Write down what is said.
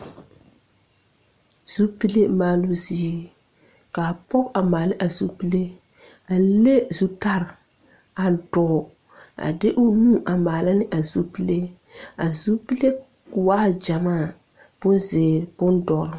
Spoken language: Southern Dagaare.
Zupilw maaloo zie kaa pɔg a maala a zupile a le zutare a dɔɔ a de o nu a maala ne a zupile a zupile waa gyamaa bonzeere bondɔre.